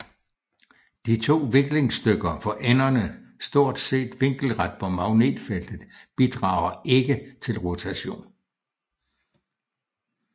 De to viklingsstykker for enderne stort set vinkelret på magnetfeltet bidrager ikke til rotation